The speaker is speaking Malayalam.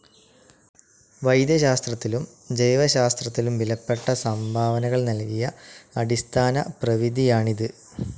വൈദ്യശാസ്ത്രത്തിലും ജൈവശാസ്ത്രത്തിലും വിലപ്പെട്ട സംഭവനകൾ നൽകിയ അടിസ്ഥാനപ്രവിധിയാണിത്.